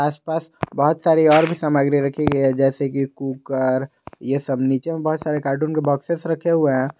आस पास बहोत सारी और भी सामग्री रखी गई है जैसे कि कुकर ये सब नीचे में बहुत सारे कार्टून के बॉक्सेस रखे हुए हैं।